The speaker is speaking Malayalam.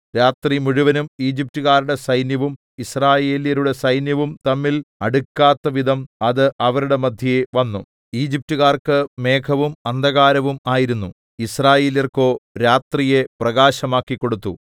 രാത്രിമുഴുവനും ഈജിപ്റ്റുകാരുടെ സൈന്യവും യിസ്രായേല്യരുടെ സൈന്യവും തമ്മിൽ അടുക്കാത്തവിധം അത് അവരുടെ മദ്ധ്യേ വന്നു ഈജിപ്റ്റുകാർക്ക് മേഘവും അന്ധകാരവും ആയിരുന്നു യിസ്രായേല്യർക്കോ രാത്രിയെ പ്രകാശമാക്കിക്കൊടുത്തു